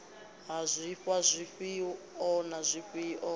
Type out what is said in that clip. ha zwifhiwa zwifhio na zwifhio